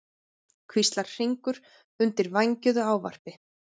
hvíslar Hringur undir vængjuðu ávarpi.